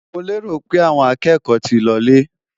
Mo lérò pé àwọn akẹ́kọ̀ọ́ ti lọ lé?